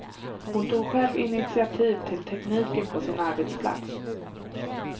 Hon tog själv initiativ till tekniken på sin arbetsplats.